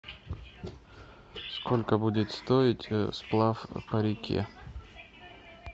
сколько будет стоить сплав по реке